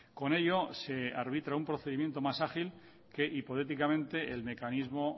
con ello se arbitra un procedimiento más ágil que hipotéticamente el mecanismo